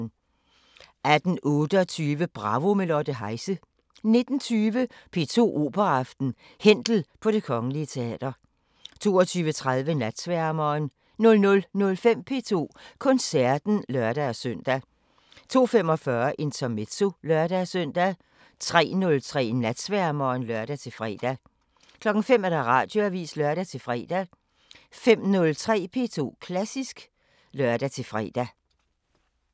18:28: Bravo – med Lotte Heise 19:20: P2 Operaaften: Händel på Det Kgl. Teater 22:30: Natsværmeren 00:05: P2 Koncerten (lør-søn) 02:45: Intermezzo (lør-søn) 03:03: Natsværmeren (lør-fre) 05:00: Radioavisen (lør-fre) 05:03: P2 Klassisk (lør-fre)